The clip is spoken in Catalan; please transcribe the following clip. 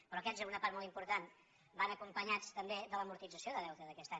però aquests en una part molt important van acompanyats també de l’amortització de deute d’aquest any